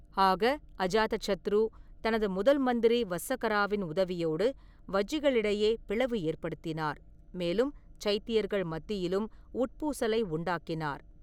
ஆக, அஜாதசத்ரு தனது முதல்மந்திரி வஸ்ஸகராவின் உதவியோடு வஜ்ஜிகளிடையே பிளவு ஏற்படுத்தினார், மேலும் சைத்தியர்கள் மத்தியிலும் உட்பூசலை உண்டாக்கினார்.